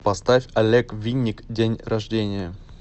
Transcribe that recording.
поставь олег винник день рождения